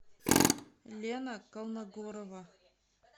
лена колмогорова